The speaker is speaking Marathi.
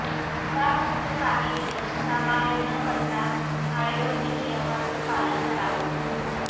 यापुढचे काही दिवस घराबाहेर न पडता टाळेबंदी नियमांचं पालन करावं